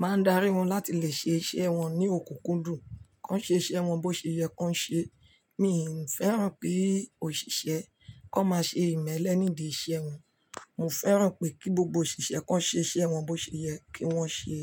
Máa darí wọn láti lè ṣe iṣẹ́ wọn ní òkùnkùndùn, kó ṣe iṣẹ́ wọn bó ṣe yẹ kó ń ṣe. Mi ń fẹ́ràn ki òṣìṣẹ́ kó má ṣe ìmẹ́lẹ́ nídìí iṣẹ́ wọn. Mo fẹ́ràn pé kí gbogbo òṣìṣẹ́ kan ṣe iṣẹ́ wọn bó ṣe yẹ kí wọ́n ṣe.